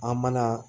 An mana